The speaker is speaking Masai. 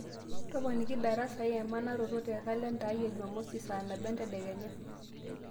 toponiki darasa ai emanaroto tee kalenda ai ee jumamosi saa nabo entedekenya